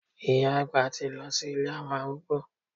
Ìyá àgbà ti lọ sí ilé àwọn arúgbó.